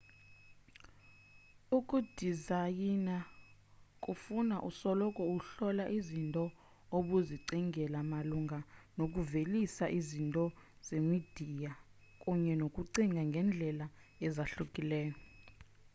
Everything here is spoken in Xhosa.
ukudizayina kufuna usoloko uhlola izinto obuzicingele malunga nokuvelisa izinto zemidiya kunye nokucinga ngendlela ezahlukileyo